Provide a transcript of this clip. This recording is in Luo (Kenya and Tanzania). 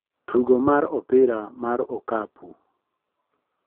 Tugo mar opira mar okapu